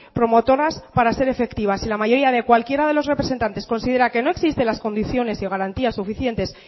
promotoras para ser efectivas si la mayoría de cualquiera de los representantes considera que no existe las condiciones y garantías suficientes